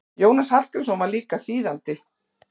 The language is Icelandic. Jónas Hallgrímsson var líka þýðandi.